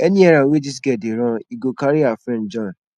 any errand wey dis girl dey run he go carry her friend join